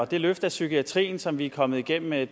det løft af psykiatrien som vi er kommet igennem med